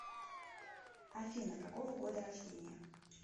афина какого года рождения